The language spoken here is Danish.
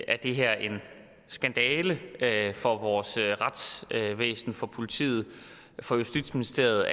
at det her er en skandale for vores retsvæsen for politiet for justitsministeriet